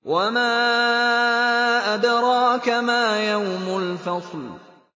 وَمَا أَدْرَاكَ مَا يَوْمُ الْفَصْلِ